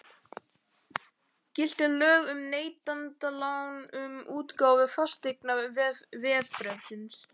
Giltu lög um neytendalán um útgáfu fasteignaveðbréfsins?